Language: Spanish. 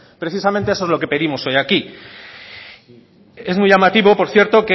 precisamente eso es lo que pedimos hoy aquí es muy llamativo por cierto